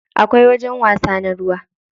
Akwai wajajen wasa na ruwa.